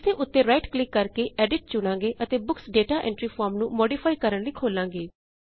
ਇਸਦੇ ਉੱਤੇ right click ਕਰਕੇ ਐਡਿਟ ਚੁਣਾਂਗੇ ਅਤੇ ਬੁੱਕਸ ਦਾਤਾ ਐਂਟਰੀ ਫਾਰਮ ਨੂੰ ਮੌਡਿਫਾਈ ਕਰਣ ਲਈ ਖੋਲਾਂਗੇ